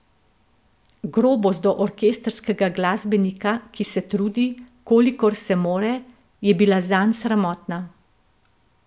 Grobost do orkestrskega glasbenika, ki se trudi, kolikor se more, je bila zanj sramotna.